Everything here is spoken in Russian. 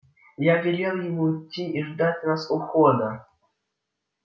я велел ему идти и ждать нас у входа